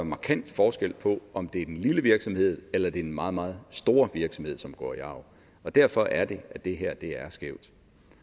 markant forskel på om det er den lille virksomhed eller det er den meget meget store virksomhed som går i arv derfor er det at det her er skævt